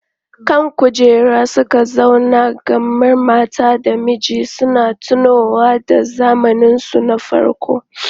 Kan kujera suka zauna kamar mata da miji suna tunowa da zamaninsu na farko.